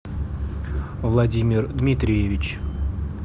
владимир дмитриевич